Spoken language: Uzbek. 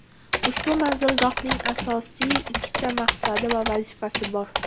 Ushbu manzilgohning asosiy ikkita maqsadi va vazifasi bor.